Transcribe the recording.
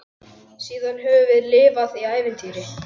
Síðan höfum við lifað í ævintýri.